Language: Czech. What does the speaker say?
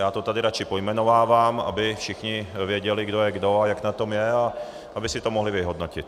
Já to tady radši pojmenovávám, aby všichni věděli, kdo je kdo a jak na tom je, a aby si to mohli vyhodnotit.